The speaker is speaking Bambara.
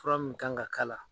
Fura min kan ka kala